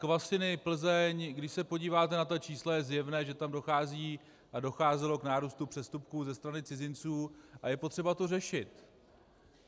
Kvasiny, Plzeň, když se podíváte na ta čísla, je zjevné, že tam dochází a docházelo k nárůstu přestupků ze strany cizinců a je potřeba to řešit.